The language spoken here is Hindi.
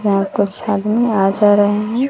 यहां पर छड़ने आ जा रहे हैं।